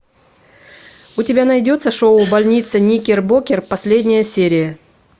у тебя найдется шоу больница никербокер последняя серия